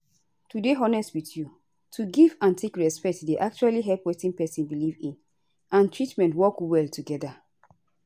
to dey honest with you to give and take respect dey actually help wetin pesin belief in and treatment work well together